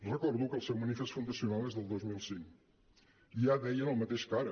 re·cordo que el seu manifest fundacional és del dos mil cinc i ja deien el mateix que ara